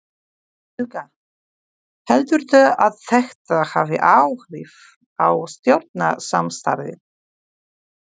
Helga: Heldurðu að þetta hafi áhrif á stjórnarsamstarfið?